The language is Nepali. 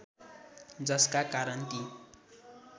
जसका कारण ती